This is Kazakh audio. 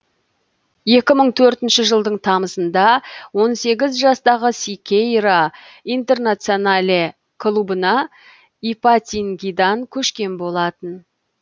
екі мың төртінші жылдың тамызында он сегіз жастағы сикейра интернационале клубына ипатингидан көшкен болатын